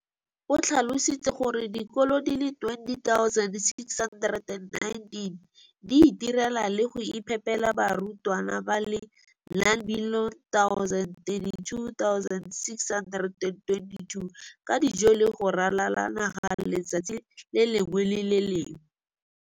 o tlhalositse gore dikolo di le 20 619 di itirela le go iphepela barutwana ba le 9 032 622 ka dijo go ralala naga letsatsi le lengwe le le lengwe.